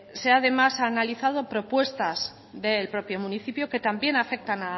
se ha además analizado propuestas del propio municipio que también afectan